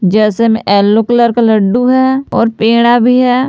जैसे में yellow colour laddoo हैं और पेड़ा भी हैं।